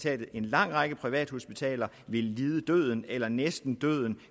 at en lang række privathospitaler ville lide døden eller næsten